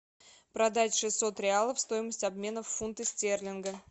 продать шестьсот реалов стоимость обмена в фунты стерлинга